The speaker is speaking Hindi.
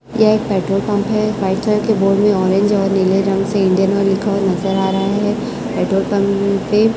यह एक पेट्रोल पंप हैं व्हाईट कलर के बोर्ड में ऑरेंज और नीले रंग से इंडियन ऑईल लिखा हुवा नजर आ रहा हैं पेट्रोल पंप पे--